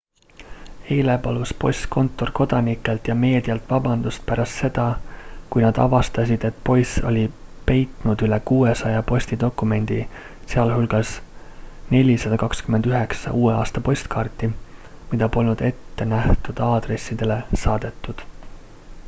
eile palus postkontor kodanikelt ja meedialt vabandust pärast seda kui nad avastasid et poiss oli peitnud üle 600 postidokumendi sh 429 uue aasta postkaarti mida polnud ettenähtud adressaatidele saadetud